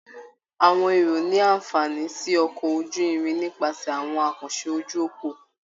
Àwọn èrò ní àǹfààní sí ọkọ̀ ojú-irin nípasẹ̀ àwọn àkànṣe ojú òpó